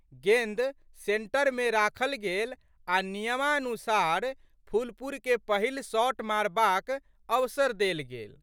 गेंद सेंटरमे राखल गेल आ' नियमानुसार फुलपुरके पहिल शॉट मारबाक अवसर देल गेल।